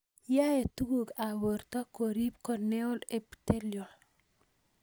Yae tuguk ap porto korip corneal epithelial